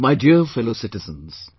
My Dear Fellow Citizens,